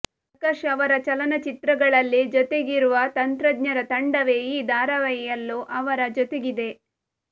ಪ್ರಕಾಶ್ ಅವರ ಚಲನಚಿತ್ರಗಳಲ್ಲಿ ಜೊತೆಗಿರುವ ತಂತ್ರಜ್ಞರ ತಂಡವೇ ಈ ಧಾರಾವಾಹಿಯಲ್ಲೂ ಅವರ ಜೊತೆಗಿದೆ